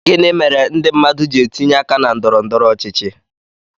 Gịnị mere ndị mmadụ ji etinye aka na ndọrọ ndọrọ ọchịchị